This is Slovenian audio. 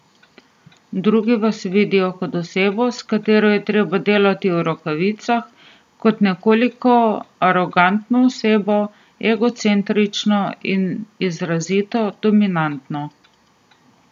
Drugi vas vidijo kot osebo, s katero je treba delati v rokavicah, kot nekoliko arogantno osebo, egocentrično in izrazito dominantno.